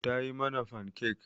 Ta yi mana fankek.